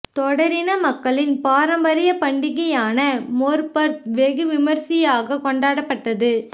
தோடர் இன மக்களின் பாரம்பரிய பண்டிகையான மொற்பர்த் வெகு விமர்சியாக கொண்டாடப்பட்டது